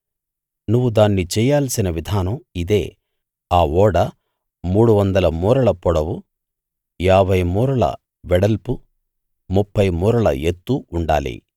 నువ్వు దాన్ని చెయ్యాల్సిన విధానం ఇదే ఆ ఓడ మూడు వందల మూరల పొడవు ఏభై మూరల వెడల్పు ముప్ఫై మూరల ఎత్తు ఉండాలి